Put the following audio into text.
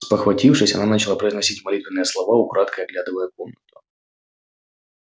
спохватившись она начала произносить молитвенные слова украдкой оглядывая комнату